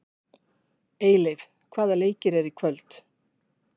Eyleif, hvaða leikir eru í kvöld?